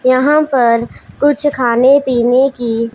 यहां पर कुछ खाने पीने की--